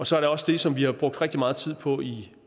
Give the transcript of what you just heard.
så er der også det som vi har brugt rigtig meget tid på i